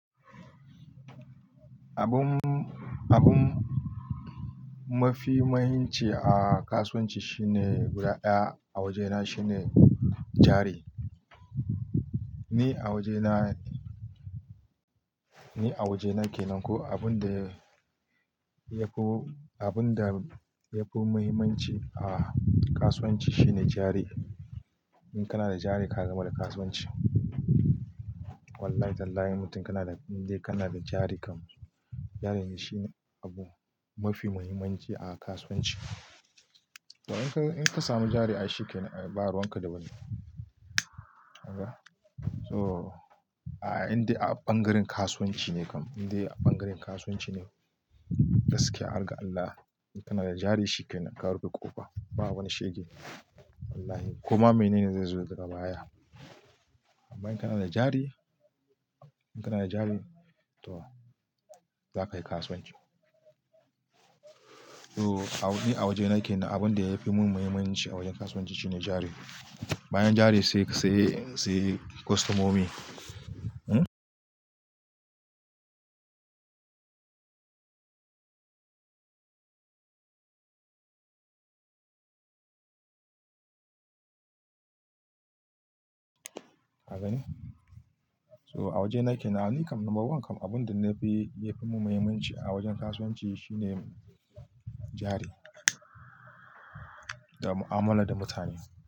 Abun, abun mafi mahimmanci a kasuwanci shine guda ɗaya a wajena shine jari. Ni a wajena, ni a wajena kenan ko abun da yafi, abun da yafi muhimmanci a kasuwanci shine jari. In kana da jari ka gama da kasuwanci. Wallahi tallahi in mutum kana da, in dai kana da jari kam, jarin ne shine abu mafi muhimmanci a kasuwanci. To in ka, in ka samu jari ai shikenan, ba ruwan ka da wani. Kagaa. So a indai ɓangaren kasuwanci ne kam, indai ɓangaren kasuwanci ne gaskiya har ga Allah, in kana da jari shikenan ka rufe ƙofa, ba wani shege. Wallahi. Koma mene ne zai zo daga baya. Amma in kana da jari, in kana da jari to za kayi kasuwanci. To ni awajena kenan abun da yafi mun muhimmanci a wajen kasuwanci shine jari. Bayan jari sai, sai, sai kostomomi. Hmm. Ka gane so awajena kenan ni kam number one kam abunda yafi mun mahimmanci a wajen kasuwanci shine jari da mu'amala da mutane jari.